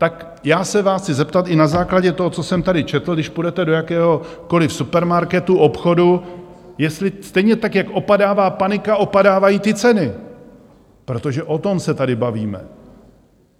Tak já se vás chci zeptat i na základě toho, co jsem tady četl, když půjdete do jakéhokoliv supermarketu, obchodu, jestli stejně tak jak opadává panika, opadávají ty ceny, protože o tom se tady bavíme.